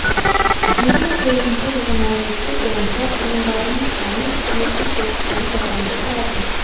екі мың тоғызыншы жылғы мәліметтер бойынша тұрғындарының саны сегіз жүз отыз тоғыз адамды құрады